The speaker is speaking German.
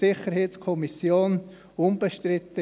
Sie war bei der SiK unbestritten.